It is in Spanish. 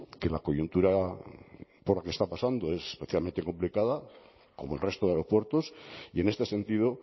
que la coyuntura por la que está pasando es especialmente complicada como el resto de aeropuertos y en este sentido